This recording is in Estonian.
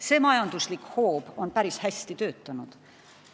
See majanduslik hoob on päris hästi töötanud.